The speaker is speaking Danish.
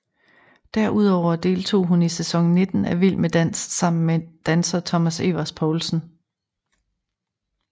Derudover deltog hun i sæson 19 af Vild med dans sammen med danser Thomas Evers Poulsen